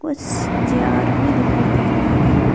कुछ चेयर भी दिखाई दे रहे हैं।